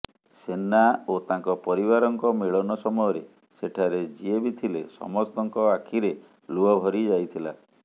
ସେନା ଓ ତାଙ୍କ ପରିବାରଙ୍କ ମିଳନ ସମୟରେ ସେଠାରେ ଯିଏବି ଥିଲେ ସମସ୍ତଙ୍କ ଆଖିରେ ଲୁହ ଭରି ଯାଇଥିଲା